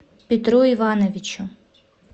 петру ивановичу